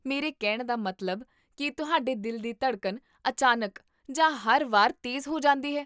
ਮੇਰੇ ਕਹਿਣ ਦਾ ਮਤਲਬ, ਕੀ ਤੁਹਾਡੇ ਦਿਲ ਦੀ ਧੜਕਣ ਅਚਾਨਕ ਜਾਂ ਹਰ ਵਾਰ ਤੇਜ਼ ਹੋ ਜਾਂਦੀ ਹੈ?